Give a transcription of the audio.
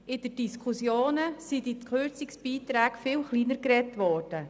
In den Diskussionen sind die Kürzungsbeiträge kleingeredet worden.